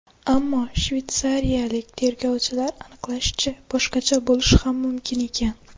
Ammo shveysariyalik tergovchilar aniqlashicha, boshqacha bo‘lishi ham mumkin ekan.